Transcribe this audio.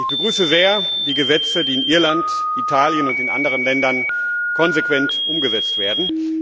Ich begrüße sehr die Gesetze, die in Irland, Italien und anderen Ländern konsequent umgesetzt werden.